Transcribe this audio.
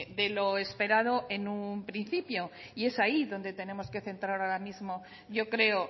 de lo esperado en un principio y es ahí donde tenemos que centrar ahora mismo yo creo